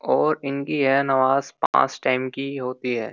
और इनकी है नवाज पांच टाइम की होती है।